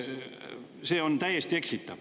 See on täiesti eksitav.